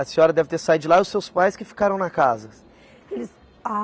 A senhora deve ter saído de lá e os seus pais que ficaram na casa?